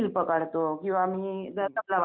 हो हो आम्ही तिकडेच रहातो.